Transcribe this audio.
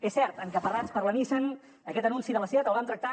és cert encaparrats per la nissan aquest anunci de la seat el vam tractar